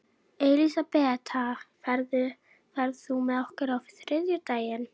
Elisabeth, ferð þú með okkur á þriðjudaginn?